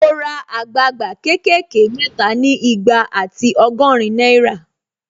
Mo ra àgbagba ké kè ké mẹ́ta ni igba ati ọgọ́rin náírà